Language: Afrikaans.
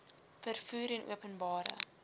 vervoer en openbare